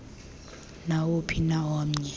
nawuphi na omnye